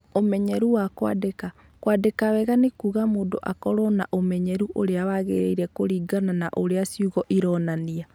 Ũmenyeru wa kwandĩka: Kwandĩka wega nĩ kuuga mũndũ akorũo na ũmenyeru ũrĩa wagĩrĩire kũringana na ũrĩa ciugo ironania.